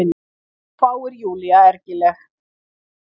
hváir Júlía ergileg.